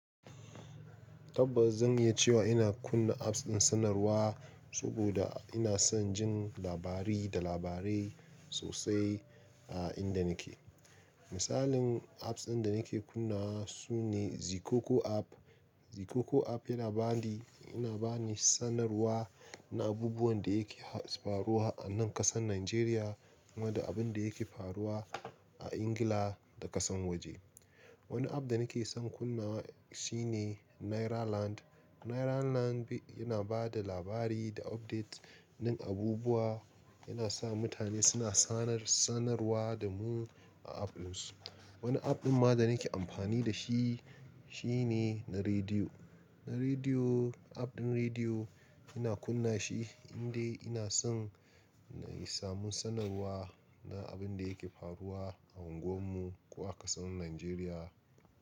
Tabbas zan iya cewa ina kunna apps ɗin sanarwa saboda ina son jin labari da labarai sosai a inda nake. Misalin apps ɗin da nake kunna wa su ne Zikoko app. Zikoko app yana bani, yana bani sanarwa na abubuwan da yake faruwa a nan ƙasar Najeriya kuma da abin da yake faruwa a Ingila da ƙasan waje. Wani app da nake son kunna wa shi ne Nairaland. Nairaland yana ba da labari da update na abubuwa, yana sa mutane suna sanar-sanarwa da mu a app ɗin su. Wani app ɗin ma da nake amfani da shi, shi ne na rediyo. Na rediyo, app ɗin rediyo ina kunna shi indai ina son na samu sanarwa na abin da yake faruwa a unguwar mu ko a ƙasar Najeriya.